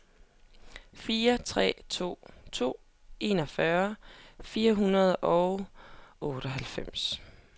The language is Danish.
fire tre to to enogfyrre fire hundrede og otteoghalvfems